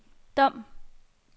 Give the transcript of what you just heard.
Dom